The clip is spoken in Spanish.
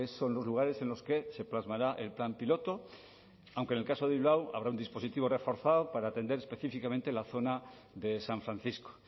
son los lugares en los que se plasmará el plan piloto aunque en el caso de bilbao habrá un dispositivo reforzado para atender específicamente la zona de san francisco